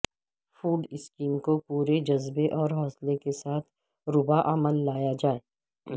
food scheme کو پورے جذبے اور حوصلے کے ساتھ روبہ عمل لایا جائے